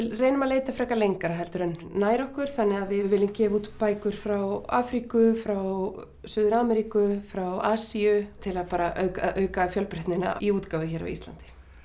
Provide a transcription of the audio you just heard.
leitum að leita frekar lengra heldur en nær okkur þannig að við viljum gefa út bækur frá Afríku frá Suður Ameríku frá Asíu til að bara auka fjölbreytnina í útgáfu hér á Íslandi